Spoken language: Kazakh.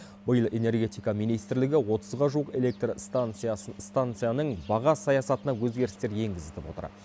биыл энергетика министрлігі отызға жуық электр станцияның баға саясатына өзгерістер енгізітіп отыр